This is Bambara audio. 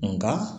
Nka